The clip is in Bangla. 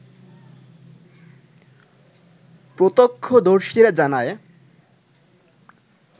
প্রত্যাক্ষদর্শীরা জানায়